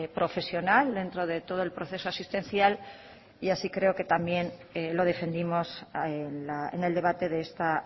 profesional dentro de todo el proceso asistencial y así creo que también lo defendimos en el debate de esta